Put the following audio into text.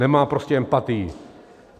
Nemá prostě empatii.